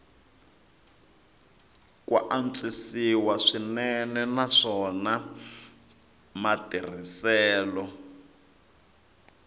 ku antswisiwa swinene naswona matirhiselo